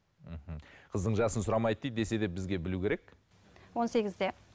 мхм қыздың жасын сұрамайды дейді десе де бізге білу керек он сегізде